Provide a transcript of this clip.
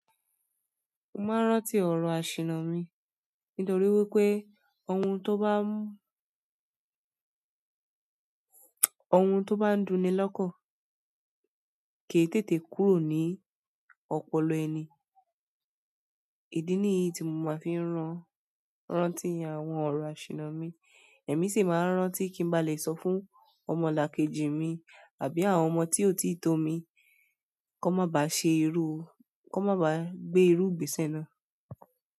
Mo máa ń rántí ọ̀rọ̀ àṣìna mi nítorí wípé ohun tó bá ohun tó bá ń duni lọ́kọ̀ kì í tètè kúrò ní ọpọlọ ẹni. Ìdí nìyí tí mo máa fi ń ran rántí àwọn ọ̀rọ̀ àṣìna mi, èmi sì máa ń rántí kí n ba lè sọ fún ọmọlàkejì mi àbí àwọn ọmọ tí ò tíì tó mi kan mọ ba ṣe irú, kan mọ ba gbé irú ìgbésẹ̀ náà.